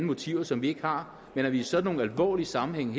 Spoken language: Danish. motiver som vi ikke har men at vi i sådanne alvorlige sammenhænge